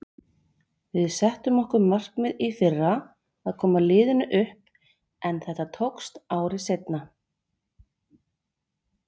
Við settum okkur markmið í fyrra að koma liðinu upp en þetta tókst ári seinna.